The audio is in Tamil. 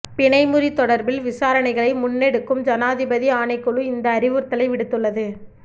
பிணைமுறி தொடர்பில் விசாரணைகளை முன்னெடுக்கும் ஜனாதிபதி ஆணைக்குழு இந்த அறிவுறுத்தலை விடுத்துள்ளது